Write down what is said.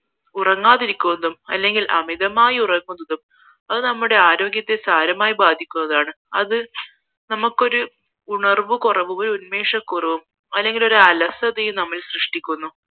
ഉറങ്ങാതിരക്കുന്നതും അല്ലെങ്കിൽ അമിതമായി ഉറങ്ങുന്നതും അത് നമ്മുടെ ആരോഗ്യത്തെ സാരമായി ബാധിക്കുന്നതാണ് അത് നമുക്കൊരു ഉണർവ് കുറവ് ഒരു ഉന്മേഷം കുറവും അല്ലെങ്കിൽ ഒരു അലസതയും നമ്മളിൽ സൃഷ്ടിക്കുന്നു